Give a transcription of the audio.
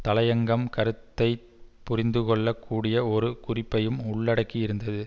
தலையங்கம் கருத்தை புரிந்துகொள்ள கூடிய ஒரு குறிப்பையும் உள்ளடக்கியிருந்தது